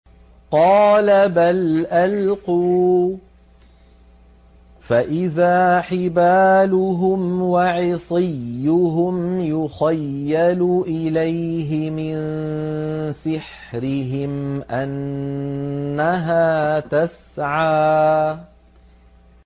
قَالَ بَلْ أَلْقُوا ۖ فَإِذَا حِبَالُهُمْ وَعِصِيُّهُمْ يُخَيَّلُ إِلَيْهِ مِن سِحْرِهِمْ أَنَّهَا تَسْعَىٰ